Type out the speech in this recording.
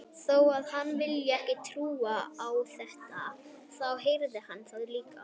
Þó að hann vilji ekki trúa á þetta, þá heyrði hann það líka.